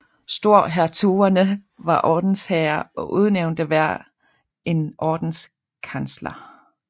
Storhertugerne var ordensherrer og udnævnte hver en ordenskansler